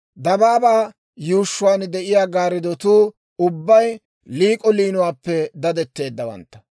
Dabaabaa yuushshuwaan de'iyaa gaariddotuu ubbay liik'o liinuwaappe dadetteeddawantta.